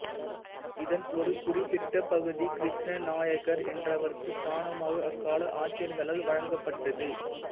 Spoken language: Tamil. இதன் ஒரு குறிப்பிட்ட பகுதி கிருஷ்ண நாயக்கர் என்றவர்க்கு தானமாக அக்கால ஆட்சியாளர்களால் வழங்கப்பட்டது